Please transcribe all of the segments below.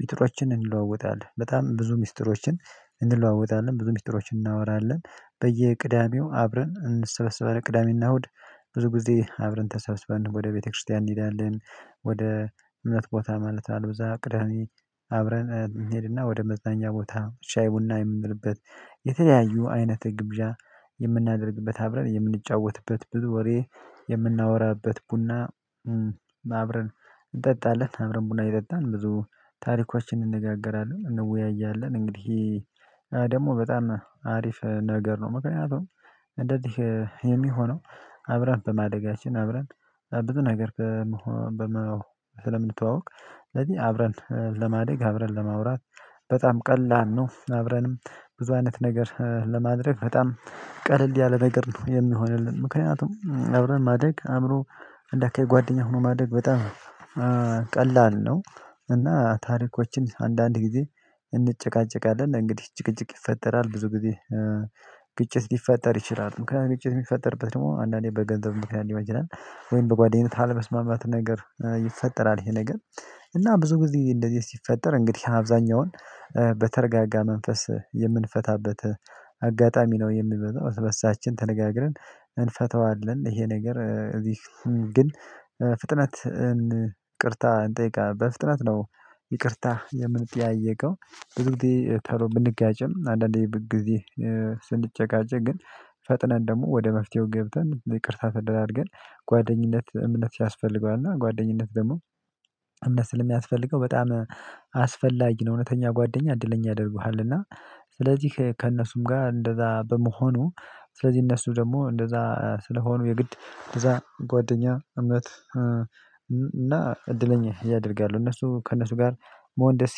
ሚጥሮችን እንለዋወጣለን በጣም ብዙ ሚስጥሮችን እንለዋወጣለን ብዙ ሚስጥሮችን እናወራለን በየቅዳሜው አብረን እንሰበስባለን ቅዳሜና እሁድ ብዙ ጊዜ አብረን ተሰብስበን ወደ ቤተክርስቲያን እንሄዳለን። ወደ እምነት ቦታ ማለት አልብዛ ቅዳሜ አብረን እንሄድና ወደ መዝናኛ ቦታ ሻይ ቡና የምንልበት የተለያዩ አይነት ግብዣ የምናደርግበት አብረን የምንጫወትበት ብዙ ወሬ የምናወራበት ቡና። አብረን እንጠጣለን አብረን ቡና እየጠጣን ብዙ ታሪኮችን እንነጋገራለን እንወያያለን እንግዲህ ደግሞ በጣም አሪፍ ነገር ነው። ምክንያቱም እንደዚህ የሚሆነው አብረን በማደጋችን አብረን ብዙ ነገር። ስለምንተዋወቅ ስለዚህ አብረን ለማደግ አብረን ለማውራት በጣም ቀላል ነው። አብረንም ብዙ አይነት ነገር ለማድረግ በጣም ቀለል ያለ ነገር ነው። የሚሆንልን ምክንያቱም አብረን ማደግ አእምሮ እንዳአካባቢይ ጓደኛ ሆኖ ማደግ በጣም ቀላል ነው። እና ታሪኮችን አንዳንድ ጊዜ እንጨቃጨቃለን እንግዲህ ጭቅጭቅ ይፈጠራል ብዙ ጊዜ። ግጭት ሊፈጠር ይችላል ምክንያቱም ግጭት የሚፈጠርበት ደግሞ አንዳንዴ በገንዘብ ምክንያት። ወይም በጓደኝነት አለመስማማት ነገር ይፈጠራል ይሄ ነገር እና ብዙ ጊዜ እንደዚህ ሲፈጠር እንግዲህ አብዛኛውን በተረጋጋ መንፈስ የምንፈታበት አጋጣሚ ነው። የሚመጣው እርስ በርሳችን ተነጋግረን እንፈተዋለን ይሄ ነገር እዚህ ግን ፍጥነት እን ይቅርታ እንጠይቃለን በፍጥነት ነው። ይቅርታ የምንጠያየቀው ብዙ ጊዜ ቶሎ ብንጋጭም አንዳንዴ ብንግዜ ስንጨቃጨ ግን ፈጥነን ደግሞ ወደ መፍትሄው ገብተን ይቅርታ ተደራርገን። ጓደኝነት እምነት ያስፈልገዋልና እና ጓደኝነት ደግሞ እምነት ስለሚያስፈልገው በጣም አስፈላጊ ነው። እውነተኛ ጓደኛ እድለኛ ያደርጉሃል እና ስለዚህ ከእነሱም ጋር እንደዛ በመሆኑ ስለዚህ እነሱ ደግሞ እንደዛ ስለሆኑ የግድ እንደዛ ጓደኛ እምነት እና እድለኛ ያደርጋሉ። እነሱ ከእነሱ ጋር መሆን ደስ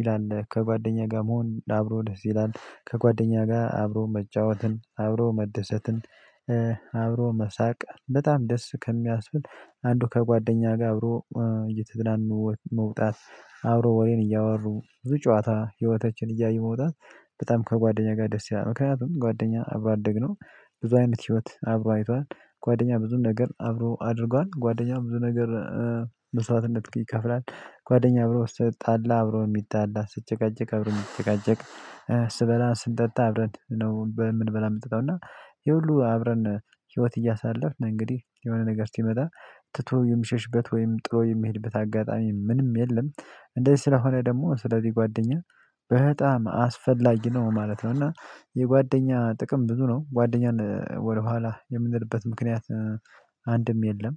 ይላል ከጓደኛ ጋር መሆን አብሮ ደስ ይላል። ከጓደኛ ጋር አብሮ መጫወትን አብሮ መደሰትን አብሮ መሳቅ በጣም ደስ ከሚያስብል አንዱ ከጓደኛ ጋር አብሮ እየተዘናኑ መውጣት። አብሮ ወሬን እያወሩ ብዙ ጨዋታ ህይወታችን እያዩ መውጣት በጣም ከጓደኛ ጋር ደስ ያላል ምክንያቱም ጓደኛ አብሮ አደግ ነው። በዙ አይነት ህይወት አብሮ አይቷል። ጓደኛ ብዙ ነገር አብሮ አድርጓል ጓደኛ ብዙ ነገር መስዋዕትነት ይከፍላል። ጓደኛ አብሮ ስትጣላ አብሮ የሚጣላ ሲጨቃጨቅ አብሮ ነው የሚጨቃጨቅ። ስበላ ስንጠጣ አብረን ነው እምንበላ እምንጠጣው እና ይሄ ሁሉ አብረን ህይወት እያሳለፍን እንግዲህ የሆነ ነገር ሲመጣ ትቶ የሚሸሽበት ወይም ጥሎ የሚሄድበት አጋጣሚ ምንም የለም። እንደዚህ ስለሆነ ደግሞ ስለዚህ ጓደኛ በጣም አስፈላጊ ነው ማለት ነው። እና የጓደኛ ጥቅም ብዙ ነው ጓደኛን ወደኋላ የምንልበት ምክንያት አንድም የለም